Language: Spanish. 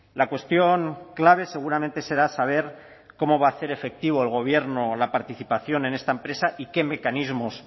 la cuestión clave seguramente será saber cómo va a hacer efectivo el gobierno la participación en esta empresa y qué mecanismos